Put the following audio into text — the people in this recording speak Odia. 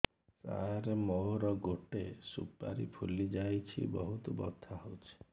ସାର ମୋର ଗୋଟେ ସୁପାରୀ ଫୁଲିଯାଇଛି ବହୁତ ବଥା ହଉଛି